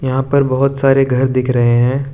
यहाँ पर बहोत सारे घर दिख रहे हैं।